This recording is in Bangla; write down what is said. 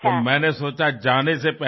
তাই আমার মনে হল যাবার আগেই